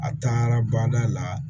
A taara bada la